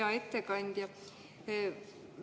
Hea ettekandja!